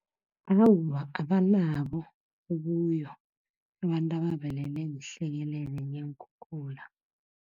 Awa, abanabo ubuyo abantu abavelelwe yihlekelele neenkhukhula.